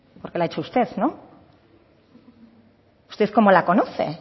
porque la ha hecho usted no usted cómo la conoce